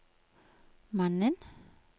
mannen